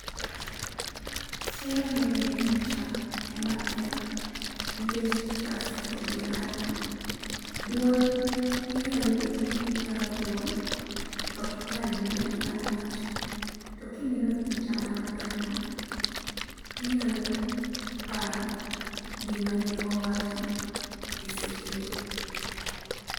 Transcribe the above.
Somo mineno e picha ema ber nikech [cs|picha siko gi ng'ato. Duol, inyalo bet ni iparo duol, to ok ipar gimane ng'ano owacho. To ka ineno picha mar ng'ato, inyalo paro gima ne owacho esechego.